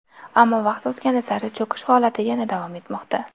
Ammo vaqt o‘tgani sari cho‘kish holati yana davom etmoqda”.